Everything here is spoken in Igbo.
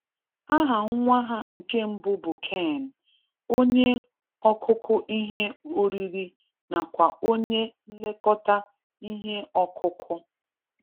Aha nwa ha nke mbụ bụ Cain, onye ọkụkụ ihe oriri nakwa onye nlekọta ihe ọkụkụ